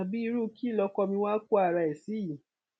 iru ki lọkọ mi wa ko ara rẹ si